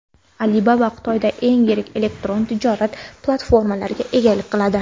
Alibaba Xitoyda eng yirik elektron tijorat platformalariga egalik qiladi.